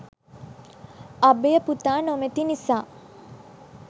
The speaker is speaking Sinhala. අභය පුතා නොමැති නිසා